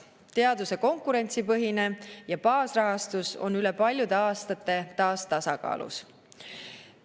Teaduse konkurentsipõhine ja baasrahastus on üle paljude aastate taas tasakaalus.